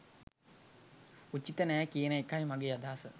උචිත නෑ කියන එකයි මගේ අදහස